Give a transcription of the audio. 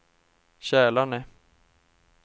Kälarne